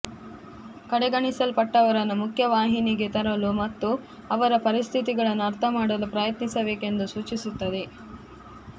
ಕಡೆಗಣಿಸಲ್ಪಟ್ಟವರನ್ನು ಮುಖ್ಯವಾಹಿನಿಗೆ ತರಲು ಮತ್ತು ಅವರ ಪರಿಸ್ಥಿತಿಗಳನ್ನು ಅರ್ಥ ಮಾಡಲು ಪ್ರಯತ್ನಿಸಬೇಕು ಎಂದು ಸೂಚಿಸುತ್ತದೆ